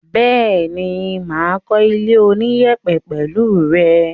Bẹ́ẹ̀ni, mà á kó ilé oníyẹ̀pẹ̀ pẹ̀lẹ́ rẹ.